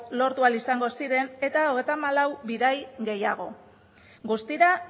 lortu ahal izango eta hogeita hamalau bidaia gehiago guztira